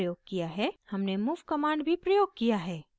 हमने move command भी प्रयोग किया है